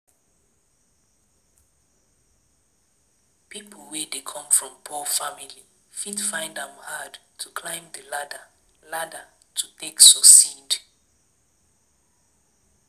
Pipo wey come from poor family fit find am hard to climb di ladder ladder to take succeed